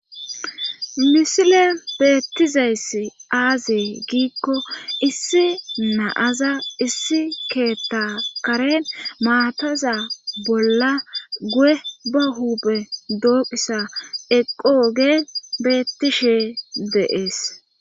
misile beettizayss aazi giikko issi na'aza issi keetta karen maataza bolla guye ba huube dooqisa eqooge beettishe de'ees